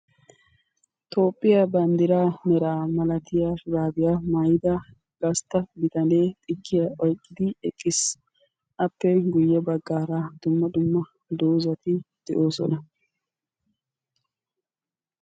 toophiya bandira mera shurabiya maayida bittane xikiya kushiyani oyqidi eqqiisi aappekka guyessara dumma dumma dozzati beettosona.